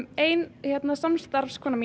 ein samstarfskona mín